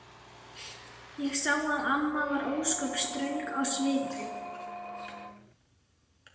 Ég sá að amma var ósköp ströng á svipinn.